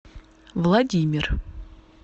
владимир